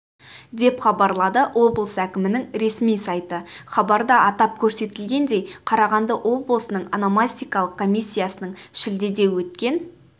деп хабарлады облыс әкімінің ресми сайты хабарда атап көрсетілгендей қарағанды облысының ономастикалық комиссиясының шілдеде өткен